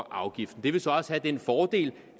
afgift det vil så også have den fordel